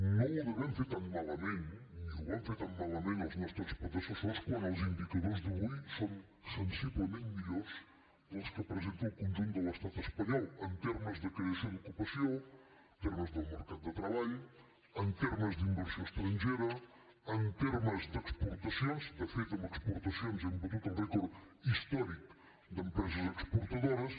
no ho devem fer tan malament ni ho van fer tan malament els nostres predecessors quan els indicadors d’avui són sensiblement millors dels que presenta el conjunt de l’estat espanyol en termes de creació d’ocupació en termes del mercat de treball en termes d’inversió estrangera en termes d’exportacions de fet en exportacions hem batut el rècord històric d’empreses exportadores